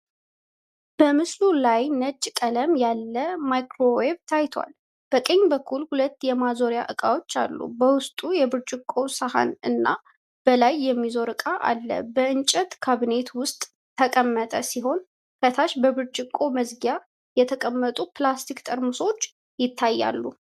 በምስሉ ውስጥ ነጭ ቀለም ያለ ማይክሮዌቭ ታይቷል። በቀኝ በኩል ሁለት የማዞሪያ እቃዎች አሉ። በውስጡ የብርጭቆ ሳህን እና በላይ የሚያዞር እቃ አለ። በእንጨት ካብኔት ውስጥ ተቀመጠ ሲሆን ከታች በብርጭቆ መዝጊያ የተቀመጡ ፕላስቲክ ጠርሙሶች ይታያሉ።